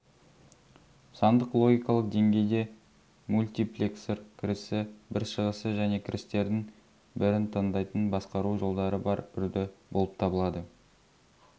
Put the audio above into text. сандық логикалық деңгейде мультиплексор кірісі бір шығысы және кірістердің бірін таңдайтын басқару жолдары бар үрді болып табылады